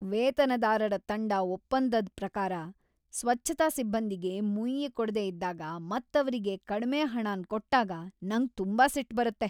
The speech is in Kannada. ವೇತನದಾರರ ತಂಡ ಒಪ್ಪಂದದ್ ಪ್ರಕಾರ ಸ್ವಚ್ಛತಾ ಸಿಬ್ಬಂದಿಗೆ ಮುಯ್ಯಿ ಕೊಡ್ದೆ ಇದ್ದಾಗ ಮತ್ ಅವ್ರಿಗೆ ಕಡ್ಮೆ ಹಣನ್ ಕೊಟ್ಟಾಗ ನಂಗ್ ತುಂಬಾ ಸಿಟ್ ಬರುತ್ತೆ.